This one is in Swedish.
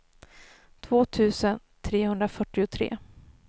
två tusen trehundrafyrtiotre